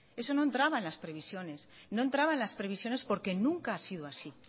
eso no entraba en las previsiones no entraba en las previsiones porque nunca ha sido así